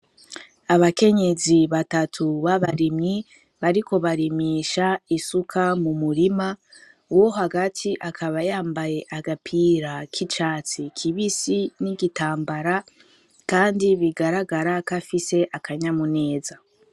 Abakenyezi batatu babarimyi bariko barimisha isuka mu murima uwo hagati akaba yambaye agapira k'icatsi kibisi n'igitambara kandi bigaragara ko afise akanyamuneza.